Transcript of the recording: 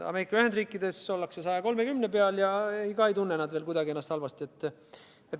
Ameerika Ühendriikides ollakse 130% peal ja ikka ei tunne nad ennast veel kuidagi halvasti.